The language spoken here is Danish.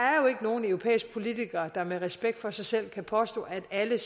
nogen europæiske politikere der med respekt for sig selv kan påstå at alle